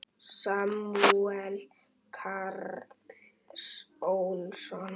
Samúel Karl Ólason.